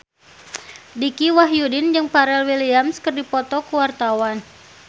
Dicky Wahyudi jeung Pharrell Williams keur dipoto ku wartawan